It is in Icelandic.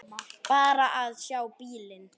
Bara að sjá bílinn.